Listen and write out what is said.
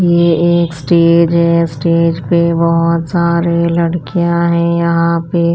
ये एक स्टेज है स्टेज पे बहुत सारे लड़कियाँ हैं यहाँ पे --